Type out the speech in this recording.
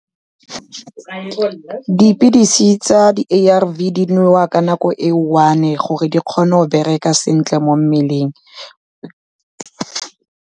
Dipilisi tsa di-A_R_V di nwewa ka nako e one-e gore di kgone go bereka sentle mo mmeleng.